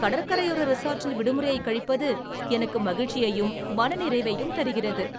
கடற்கரையோர ரிசார்ட்டில் விடுமுறையைக் கழிப்பது எனக்கு மகிழ்ச்சியையும் மனநிறைவையும் தருகிறது.